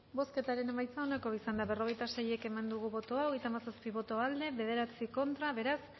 bozketaren emaitza onako izan da berrogeita sei eman dugu bozka hogeita hamazazpi boto aldekoa nueve contra beraz